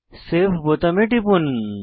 save বোতামে টিপুন